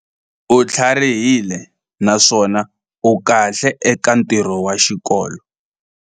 U tlharihile naswona u kahle eka ntirho wa xikolo.